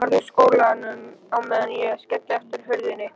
Farðu úr skónum á meðan ég skelli aftur hurðinni.